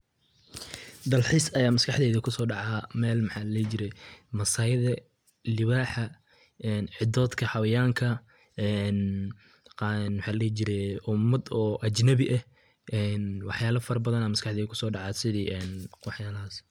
Dalxis aya maskaxdeyda kusodaca meel maxa ladihi jire masayda libaxa, cidoddka xawayanka maxa ladihi jire umad oo ajnabi eh wax yalo badan aya maskaxdeyda kusodaca sidii waxyalahas.